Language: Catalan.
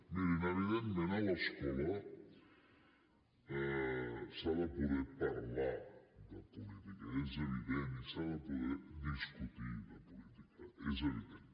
mirin evidentment a l’escola s’ha de poder parlar de política és evident i s’ha de poder discutir de política és evident